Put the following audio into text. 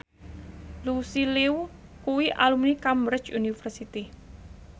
Lucy Liu kuwi alumni Cambridge University